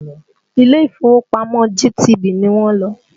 Ilé ìfowópamọ́ GTB ni wọ́n lọ